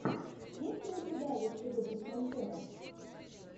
есть ли у тебя лучший выпуск монтера